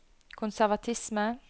konservatisme